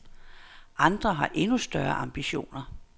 Andre har endnu større ambitioner.